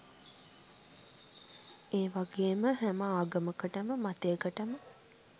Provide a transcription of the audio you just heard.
ඒවගේම හැම ආගමකටම මතයකටම